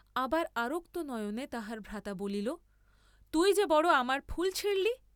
আবার আরক্ত নয়নে তাহার ভ্রাতা বলিল তুই যে বড় আমার ফুল ছিঁড়লি।